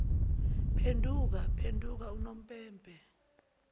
phenduka phenduka unompempe